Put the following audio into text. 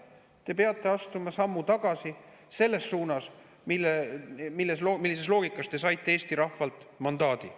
Te peate astuma sammu tagasi selles suunas, millisest loogikast te saite Eesti rahvalt mandaadi.